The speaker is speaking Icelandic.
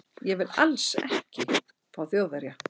Ég vil ALLS ekki fá Þjóðverja.